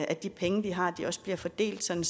at de penge vi har også bliver fordelt sådan